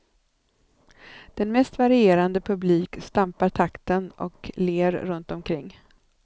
Den mest varierande publik stampar takten och ler runtomkring.